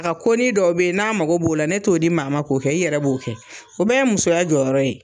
A ko ni dɔw be ye n'a mago b'o la ne t'o di maa ma k'o kɛ, i yɛrɛ b'o kɛ. O bɛɛ ye musoya jɔyɔrɔ ye.